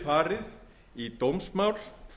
geti farið í dómsmál